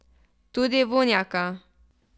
Tudi Vunjaka.